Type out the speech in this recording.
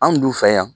Anw dun fɛ yan